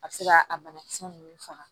A bɛ se ka a banakisɛ ninnu faga